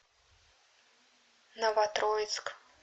новотроицк